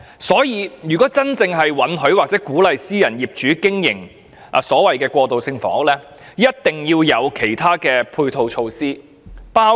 所以，如果政府真的准許或鼓勵私人業主經營過渡性房屋，便必須制訂其他配套措施。